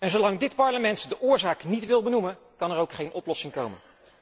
Zolang dit Parlement de oorzaak niet wil benoemen, kan er ook geen oplossing komen.